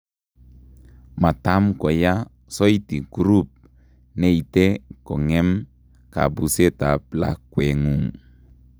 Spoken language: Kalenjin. Matam koyaa soiti croup neite kong'em kabuuset ab lakwengung'